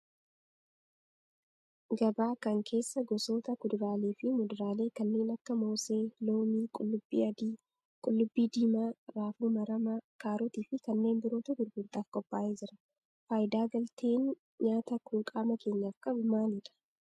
Gabaa kan keessa gosoota kuduraalee fi muduraalee kanneen akka moosee, loomii, qullubbii adii, qullubbii diima, raafuu maramaa, kaarotii fi kanneen birootu gurgurtaaf qophaa'ee jira. Faayidaa galteen nyaataa kun qaama keenyaf qabu maalidha?